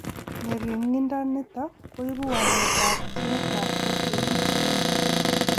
Ng'ering'indo nito koibu waletab ginitab FAH.